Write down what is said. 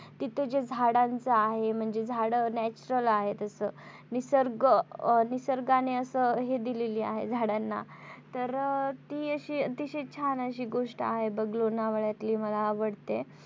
तिथे जे झाडांचं आहे म्हणजे झाडं natural आहेत असं निसर्ग अं निसर्गाने असं हे दिलेली आहे झाडांना तर ती अतिशय छान अशी गोष्ट आहे बघ लोणवळ्यातली मला आवडते.